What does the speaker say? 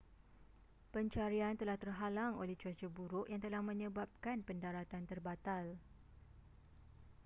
pencarian telah terhalang oleh cuaca buruk yang telah menyebabkan pendaratan terbatal